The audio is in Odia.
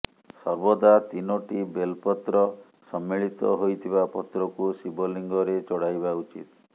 ସର୍ବଦା ତିନୋଟି ବେଲ ପତ୍ର ସମ୍ମିଳିତ ହୋଇଥିବା ପତ୍ରକୁ ଶିବଲିଙ୍ଗରେ ଚଢାଇବା ଉଚିତ